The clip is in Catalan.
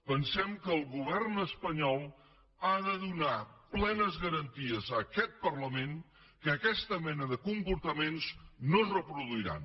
pensem que el govern espanyol ha de donar plenes garanties a aquest parlament que aquesta mena de comportaments no es reproduiran